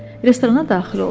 Restorana daxil olduq.